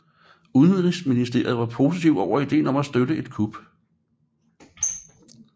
Udenrigsministeriet var positiv over ideen om at støtte et kup